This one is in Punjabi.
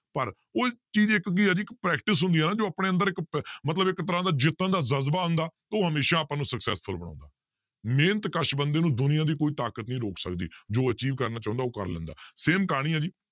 ਪਰ ਉਹ ਚੀਜ਼ ਇੱਕ ਕੀ ਹੈ ਜੀ practice ਹੁੰਦੀ ਹੈ ਨਾ ਜੋ ਆਪਣੇ ਅੰਦਰ ਇੱਕ ਪ~ ਮਤਲਬ ਇੱਕ ਤਰ੍ਹਾਂ ਦਾ ਜਿੱਤਣ ਦਾ ਜ਼ਜ਼ਬਾ ਹੁੰਦਾ ਉਹ ਹਮੇਸ਼ਾ ਆਪਾਂ ਨੂੰ successful ਬਣਾਉਂਦਾ, ਮਿਹਨਤ ਕਸ ਬੰਦੇ ਨੂੰ ਦੁਨੀਆ ਦੀ ਕੋਈ ਤਾਕਤ ਨਹੀਂ ਰੋਕ ਸਕਦੀ ਜੋ achieve ਕਰਨਾ ਚਾਹੁੰਦਾ ਉਹ ਕਰ ਲੈਂਦਾ same ਕਹਾਣੀ ਹੈ ਜੀ